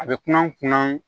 A bɛ kunna kunna